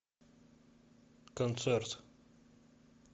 концерт